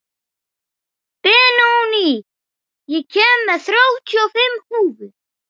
Benóný, ég kom með þrjátíu og fimm húfur!